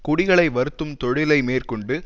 குடிகளை வருத்தும் தொழிலை மேற்கொண்டு